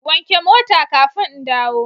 Wanke mota kafin in dawo